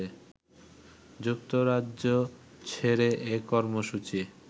যুক্তরাজ্য ছেড়ে এ কর্মসূচি